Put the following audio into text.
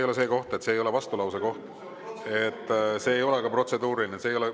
Aga see ei ole vastulause koht, see ei ole ka protseduuriline.